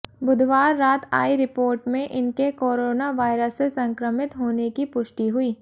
बुधवार रात आई रिपोर्ट में इनके कोरोना वायरस से संक्रमित होने की पुष्टि हुई